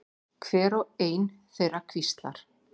Hver og ein þeirra hvíslar.